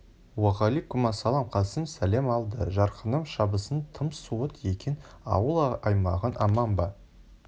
уағаликумассалам қасым сәлем алды жарқыным шабысың тым суыт екен ауыл-аймағың аман ба